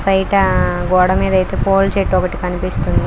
బయట గోడ మీద అయితే పూల చెట్టు ఒకటి కనిపిస్తుంది.